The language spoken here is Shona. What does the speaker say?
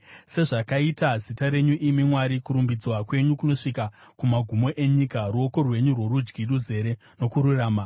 Sezvakaita zita renyu, imi Mwari, kurumbidzwa kwenyu kunosvika kumagumo enyika; ruoko rwenyu rworudyi ruzere nokururama.